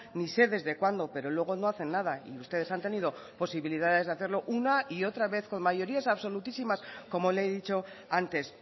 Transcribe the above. ni sé desde cuándo pero luego no hacen nada y ustedes han tenido posibilidades de hacerlo una y otra vez con mayorías absolutísimas como le he dicho antes